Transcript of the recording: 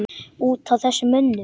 Út af þessum mönnum?